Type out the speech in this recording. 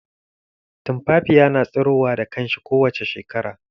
Tumfafiya na tsirowa da kanshi kowace shekara.